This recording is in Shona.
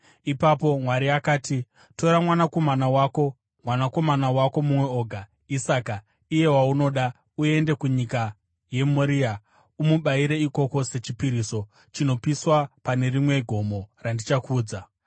Ipapo Mwari akati, “Tora mwanakomana wako, mwanakomana wako mumwe oga, Isaka, iye waunoda, uende kunyika yeMoria. Umubayire ikoko sechipiriso chinopiswa pane rimwe gomo randichakuudza.”